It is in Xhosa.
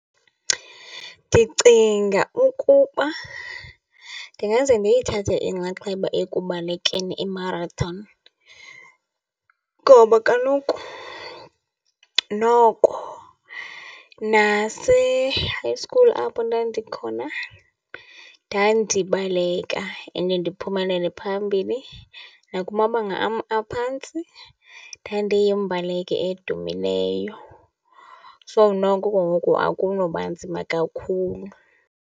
Ndicinga ukuba ndingaze ndiyithathe inxaxheba ekubalekeni i-marathon ngoba kaloku noko nase-high school apho ndandikhona ndandibaleka and ndiphumelele phambili. Nakumabanga am aphantsi ndandiyimbaleki edumileyo. So, noko ke ngoku akunoba nzima kakhulu.